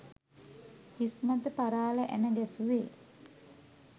හිස්මත පරාල ඇණ ගැසුවේ